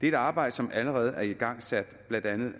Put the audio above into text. et arbejde som allerede er igangsat blandt andet